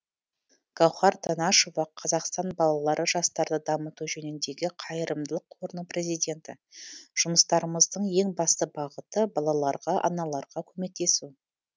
гаухар танашева қазақстан балалары жастарды дамыту жөніндегі қайырымдылық қорының президенті жұмыстарымыздың ең басты бағыты балаларға аналарға көмектесу